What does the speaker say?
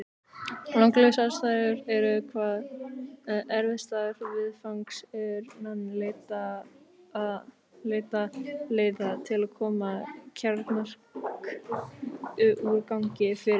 Langlífu samsæturnar eru hvað erfiðastar viðfangs er menn leita leiða til að koma kjarnorkuúrgangi fyrir.